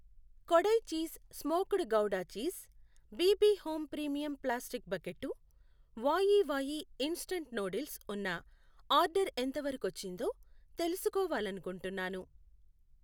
Kodai cheese smoked gouda cheese, BB home premium plastic bucket, Wai Wai instant noodles ఉన్న order ఎంతవరకొచ్చిందో తెలుసుకోవాలనుకుంటున్నాను.